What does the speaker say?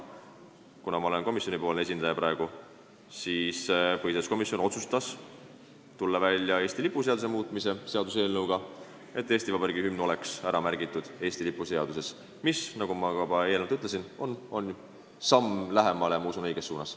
Kuna ma olen praegu komisjoni esindaja, siis ütlen, et põhiseaduskomisjon otsustas tulla välja Eesti lipu seaduse muutmise seaduse eelnõuga, nii et Eesti Vabariigi hümn saaks ära märgitud Eesti lipu seaduses, mis, nagu ma ka juba eelnevalt ütlesin, on samm, ma usun, õiges suunas.